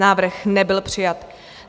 Návrh nebyl přijat.